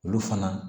Olu fana